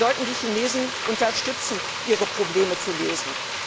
Wir sollten die Chinesen dabei unterstützen, ihre Probleme zu lösen.